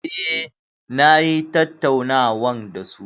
Eh, na yi tattaunawan da su.